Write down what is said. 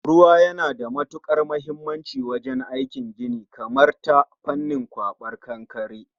Ruwa yana da matukar muhimmanci wajen aikin gini, kamar ta fannin kwaben kankare